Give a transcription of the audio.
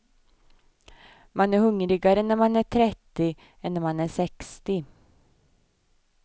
Man är hungrigare när man är trettio än när man är sextio.